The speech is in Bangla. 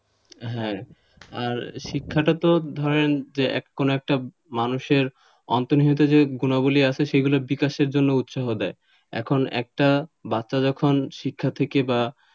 হ্যাঁ আর শিক্ষাটা তো ধরেন কোন একটা মানুষের অন্তর্নিহিত যে গুনাবলী আছে সেগুলো বিকাশের জন্য উৎসাহ দেয় এখন একটা বাচ্চা যখন শিক্ষা থেকে বা,